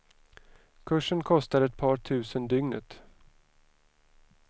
Kursen kostar ett par tusen dygnet.